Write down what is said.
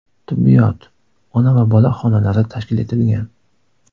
Tibbiyot, ona va bola xonalari tashkil etilgan.